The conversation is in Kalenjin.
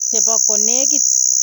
Chebo konekit.